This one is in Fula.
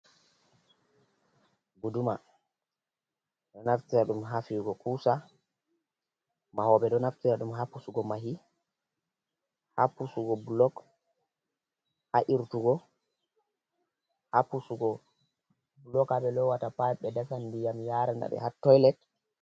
Guduma do naftira ɗum hafiyugo kusa mahobe ɗo naftira ɗum ha ppusugo mahi, ha pusugo blog, ha irtugo ha pusugo blok a ɓe lowata pa be dasa diyam yarana be ha toilet.